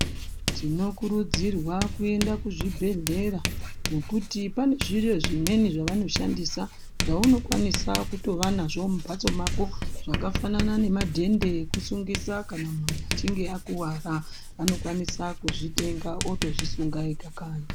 Tinokurudzirwa kuenda kuzvibhehlera nekuti panozvirozvimweni zvavanoshandisa zvaunokwanisa kutova nazvo mumhatso mwako zvakafanana nemadhende ekusungisa kana muntu einge akuwara anokwanisa kuzvitenga otozvisunga ega.